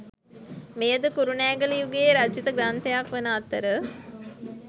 මෙයද කුරුණෑගල යුගයේ රචිත ග්‍රන්ථයක් වන අතර